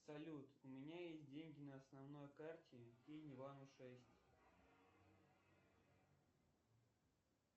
салют у меня есть деньги на основной карте кинь ивану шесть